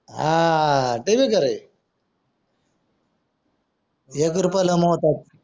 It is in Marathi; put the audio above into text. हां ते भी खरंय एक रुपयाला मोहताज